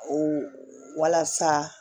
O walasa